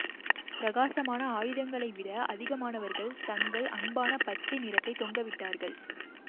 பிரகாசமான ஆயுதங்களை விட அதிகமானவர்கள் தங்கள் அன்பான பச்சை நிறத்தை தொங்கவிட்டார்கள்